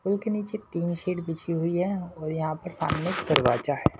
पुल के नीचे तीन शीट बिजी हुई है यहां सामने दरवाजा है।